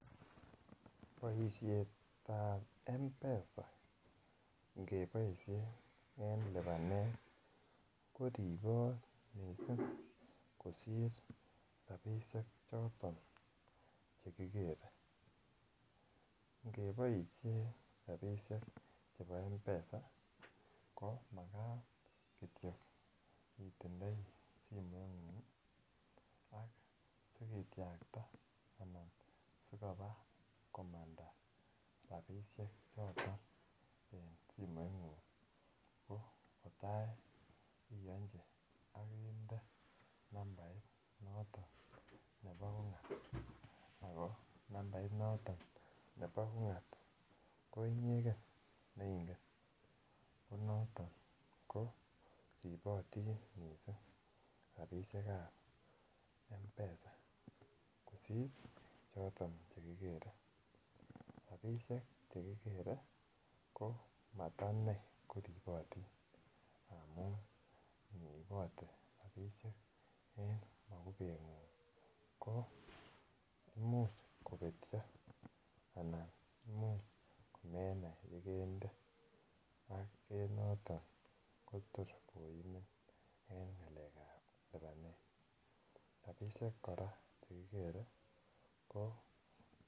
Boisiet ab mpesa nge boisien en lipanet ko ribot mising kosir rabisiek choton Che kikere ngeboisien rabisiek choton chebo mpesa ko Makat Kityo itindoi simoingung ak sikityakta anan si koba komanda rabisiek choton en simoingung ko tai iyonji ak inde nambait noton nebo ungat ako nambait noton nebo ungat ko inyegen ne ingen ko noton ko ribotin mising rabisiek ab mpesa kosir choton Che kikere rabisiek Che kigere ko mata inei ko ribotin amun iniibote rabisiek en mokubengung ko Imuch kobetyo anan Imuch komenai Ole kende ak en noton kotor koimin en ngalekab lipanet rabisiek kora Che kikere ko